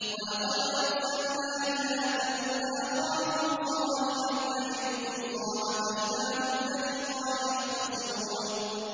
وَلَقَدْ أَرْسَلْنَا إِلَىٰ ثَمُودَ أَخَاهُمْ صَالِحًا أَنِ اعْبُدُوا اللَّهَ فَإِذَا هُمْ فَرِيقَانِ يَخْتَصِمُونَ